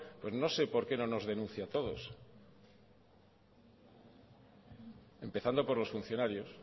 pues no sé por qué no nos denuncia a todos empezando por los funcionarios